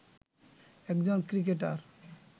একজন ক্রিকেটার